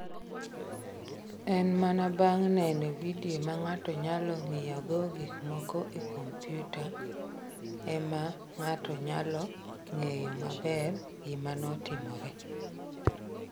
En mana bang’ neno vidio ma ng’ato nyalo ng’iyogo gik moko e kompyuta, e ma ng’ato nyalo ng’eyo maber gima notimore.